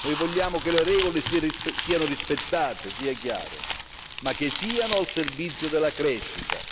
Noi vogliamo che le regole siano rispettate sia chiaro ma che siano al servizio della crescita.